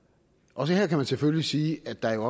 også her kan man selvfølgelig sige at der jo